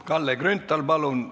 Kalle Grünthal, palun!